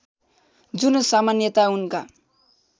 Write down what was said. जुन सामान्यतया उनका